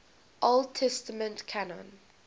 old testament canon